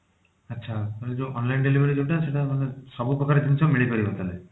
ଆଚ୍ଛା ମାନେ ଯଉ online delivery ଯଉଟା ସେଟା ମାନେ ସବୁ ପ୍ରକାର ଜିନିଷ ମିଳି ପାରିବ ତା ଧିଅରେ?